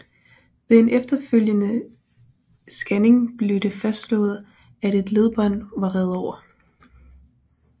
Ved en efterfølgende scanning blev det fastslået at et ledbånd var revet over